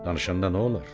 Danışanda nə olar?